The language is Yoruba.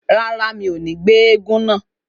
Rárá, mi ò ní jẹ́ éégún náà